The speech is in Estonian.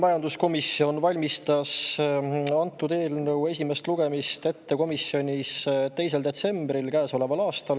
Majanduskomisjon valmistas antud eelnõu esimest lugemist ette 2. detsembril käesoleval aastal.